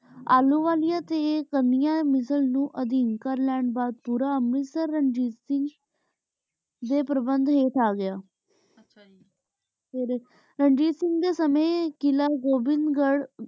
ਅਲੋ ਵਾਲਿਯਾਂ ਤੇ ਸਮਿਯਾਂ ਮਿਸਾਲ ਨੂ ਅਧੀਮ ਕਰ ਲੈਣ ਬਾਅਦ ਪੋਰ ਅੰਮ੍ਰਿਤਸਰ ਰਣਜੀਤ ਸਿੰਘ ਦੇ ਪ੍ਰਬੰਦ ਹੇਠ ਆਗਯਾ ਆਚਾ ਜੀ ਰਣਜੀਤ ਸਿੰਘ ਦੇ ਸਮੇ ਕਿਲਾ ਗੋਬਿੰਦਹ ਗਢ਼